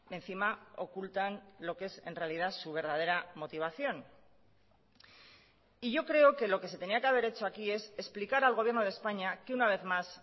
encima ocultan lo que es en realidad su verdadera motivación y yo creo que lo que se tenía que haber hecho aquí es explicar al gobierno de españa que una vez más